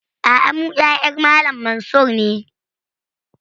A'a, mu ƴaƴan Malam Mansur ne